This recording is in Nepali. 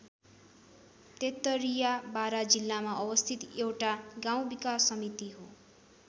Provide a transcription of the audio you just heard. तेत्तरिया बारा जिल्लामा अवस्थित एउटा गाउँ विकास समिति हो।